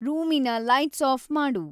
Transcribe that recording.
ರೂಮಿನ ಲೈಟ್ಸಾಫ್‌ ಮಾಡು